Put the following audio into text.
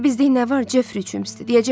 Bir də biz deyək nə var Jeffri üçün, üstə.